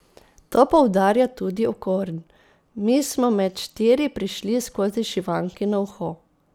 To poudarja tudi Okorn: 'Mi smo med štiri prišli skozi šivankino uho.